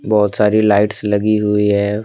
बहोत सारी लाइट्स लगी हुई है।